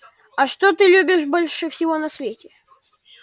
а что ты любишь больше всего на свете